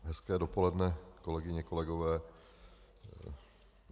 Hezké dopoledne, kolegyně, kolegové.